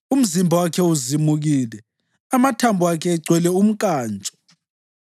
umzimba wakhe uzimukile, amathambo akhe egcwele umnkantsho.